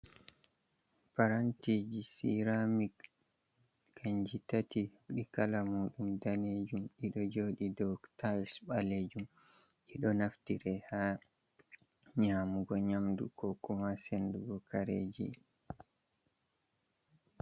Parantiji siramic, kanji tati ɗi kala muɗum danejum, ɗiɗo joɗi dow tayis ɓalejum ɗiɗo naftire ha nyamugo nyamdu ko kuma sendugo kareji.